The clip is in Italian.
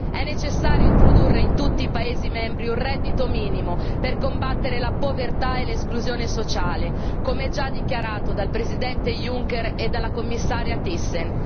È necessario introdurre in tutti i Paesi membri un reddito minimo per combattere la povertà e l'esclusione sociale, come già dichiarato dal Presidente Juncker e dalla Commissaria Thyssen.